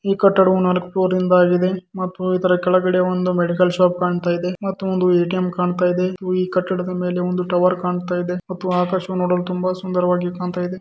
ಈ ಕಟ್ಟಡವು ನಾಲಕ್ಕು ಫ್ಲೋರ್ ನದು ಆಗಿದೆ ಮತ್ತು ಇದರ ಕೆಳಗಡೆ ಒಂದು ಮೆಡಿಕಲ್ ಶಾಪ್ ಕಾಣುತಯಿದೆ ಮತ್ತು ಎ.ಟಿ.ಎಂ. ಕಾಣುತಾಯಿದೆ ಈ ಕಟ್ಟಡ ಮೇಲೆ ಒಂದು ಟವರ್ ಕಾನುತಾಯಿದೆ ಮತ್ತು ಆಕಾಶ ನೋಡಲು ತುಂಬಾ ಸುಂದರವಾಗಿ ಕಾನುತಾಯಿದೆ.